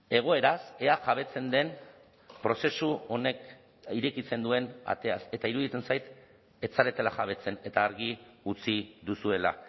egoeraz ea jabetzen den prozesu honek irekitzen duen ateaz eta iruditzen zait ez zaretela jabetzen eta argi utzi duzuela